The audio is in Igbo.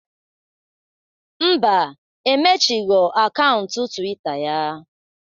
Ḿbà, emechigho akaụntụ twita ya